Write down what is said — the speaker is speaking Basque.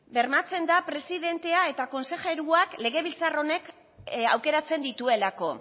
bermatzen da presidentea eta konsejeroak legebiltzar honek aukeratzen dituelako